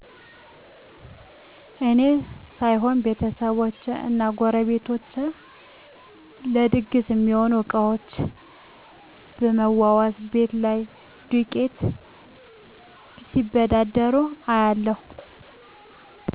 እኔ ሳይሆን ቤተሰቦቸ እና ጎረቤቶቸ ለድግስ ሚሆኑ እቃዎችን ብመዋዋስ፣ ቤት ላይ ዱቄት ሲበዳደሩ እያለሁ።